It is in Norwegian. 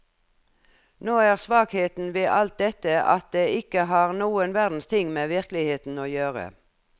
Nå er svakheten ved alt dette at det ikke har noen verdens ting med virkeligheten å gjøre.